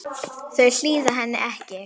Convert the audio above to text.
Þau hlýða henni ekki.